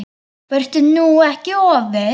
Vertu nú ekki of viss.